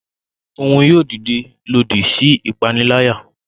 Òún yóò dide lòdì sí ipanilaya.